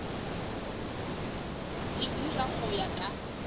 di dira go ya ka